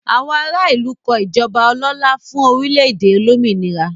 Àwọn ará ìlú kọ ìjọba ọlọ́lá fún orílẹ̀-èdè olómìnira.